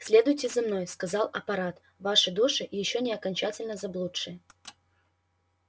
следуйте за мной сказал апорат ваши души ещё не окончательно заблудшие